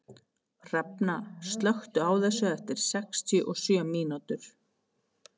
Hrafna, slökktu á þessu eftir sextíu og sjö mínútur.